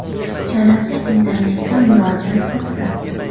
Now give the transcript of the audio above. Uchalasi internetda murojaat qilsin.